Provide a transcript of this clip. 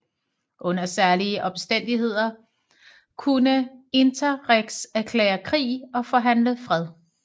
Under særlige omstændigheder kunne interrex erklære krig og forhandle fred